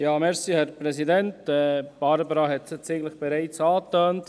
Barbara Streit hat es bereits angetönt.